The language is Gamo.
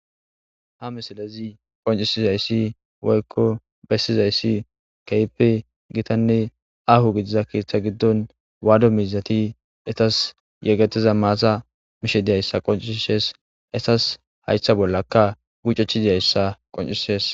ha misilezi qoncisizayssi woykko bessizayssi kehipe gitanne aho gidiza keeththa giddon waado miizati etas yegetiza maasa mishe diyayssa qoncisishees etas haytha bollaka gucechidiyayssa qoncisees